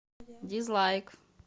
дизлайк